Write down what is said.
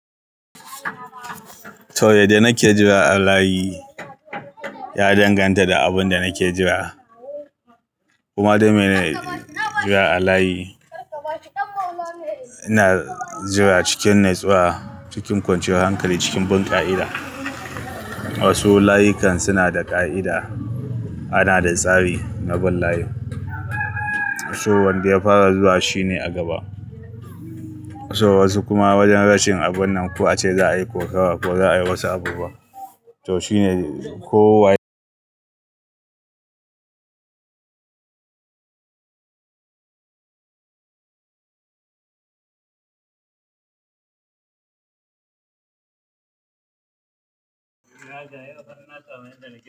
To, yadda na ke jira a layi ya danganta da abin da nake jira, kuma don me na jira a layi. Ina jira cikin natsuwa, cikin kwanciyar hankali, cikin bin ƙa'ida. Wasu layukan suna da ƙa'ida. Ana da tsari na bin layi. So wanda ya fara zuwa shine a gaba. So wasu kuma wajen rashin abun nan ko a ce za a yi kokawa ko za a yi wasu abubuwa. To shine ko waye.